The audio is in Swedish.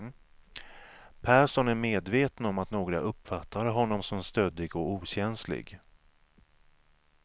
Persson är medveten om att några uppfattar honom som stöddig och okänslig.